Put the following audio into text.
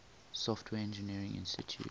software engineering institute